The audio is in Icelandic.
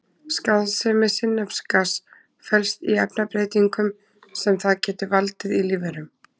Skaðsemi sinnepsgass felst í efnabreytingum sem það getur valdið í lífverum.